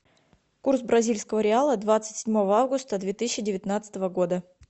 курс бразильского реала двадцать седьмого августа две тысячи девятнадцатого года